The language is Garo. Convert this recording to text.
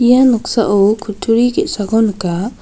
ia noksao kutturi ge·sako nika.